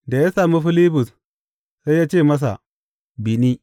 Da ya sami Filibus sai ya ce masa, Bi ni.